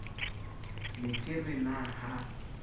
ne ke re na ha